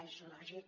és lògic